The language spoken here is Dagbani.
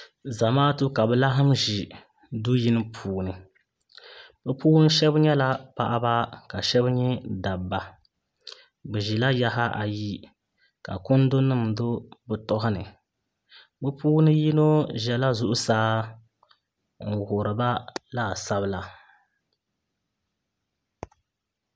Zamaatu ka bi laɣam ʒi du yini puuni bi puuni shab nyɛla paɣaba ka shab nyɛ dabba bi ʒila yaɣa ayi ka kundi nim do bi tooni bi puuni yino ʒɛla zuɣusaa n wuhuriba laasabu la